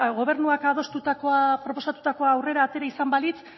gobernuak adostutakoa proposatutakoa aurrera atera izan balitz